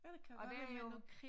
Og der er jo